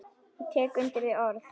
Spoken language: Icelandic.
Ég tek undir þau orð.